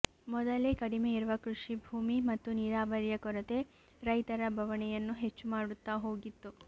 ಮೊದಲೇ ಕಡಿಮೆ ಇರುವ ಕೃಷಿ ಭೂಮಿ ಮತ್ತು ನೀರಾವರಿಯ ಕೊರತೆ ರೈತರ ಬವಣೆಯನ್ನು ಹೆಚ್ಚು ಮಾಡುತ್ತಾ ಹೋಗಿತ್ತು